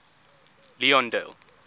leondale